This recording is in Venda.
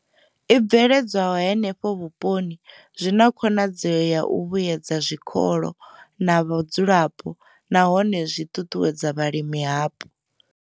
I bveledzwaho henefho vhuponi zwi na khonadzeo ya u vhuedza zwikolo na vhadzulapo nahone zwi ṱuṱuwedza vhalimi hapo.